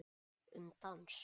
Um dans